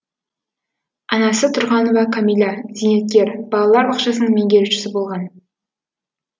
анасы тұрғанова кәмила зейнеткер балалар бақшасының меңгерушісі болған